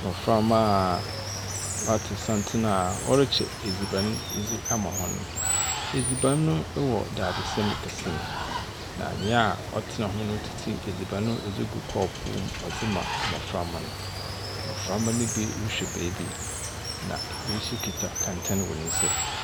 Mmɔframa wɔa tu santen a wɔre kyɛ aduane dzi ama wɔn. Edziban no wɔ daadesɛn kɛse mu na nia ɔtena ho no otete edziban ɔdzi guu kɔɔpu mu ɔdzi ma mmɔframa. Mmɔframa no be rehwɛ beebi. Na ebi so kuta kɛntɛn wɔ nsam.